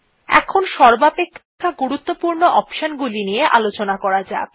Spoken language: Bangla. এখানে সর্বাপেক্ষা গুরুত্বপূর্ণ অপশন গুলি নিয়ে আলোচনা করা যাক